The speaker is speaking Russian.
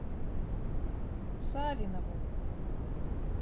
савинову